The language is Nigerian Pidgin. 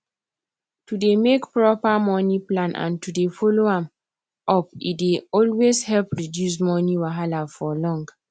to dey make proper money plan and to dey follow am upe dey always help reduce money wahala for long